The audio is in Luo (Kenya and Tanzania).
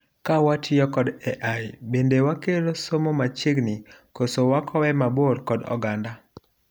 Ka watiyo kod AI, bende wakelo somo machiegni koso wakowe mabor kod oganda